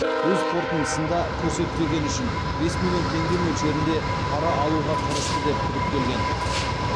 өз қорытындысында көрсетпегені үшін бес миллион теңге мөлшерінде пара алуға тырысты деп күдіктелген